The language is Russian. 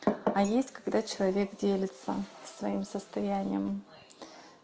а есть когда человек делится своим состоянием